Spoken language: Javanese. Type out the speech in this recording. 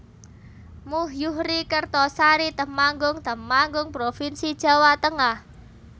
Muh Yuhri Kertosari Temanggung Temanggung provinsi Jawa Tengah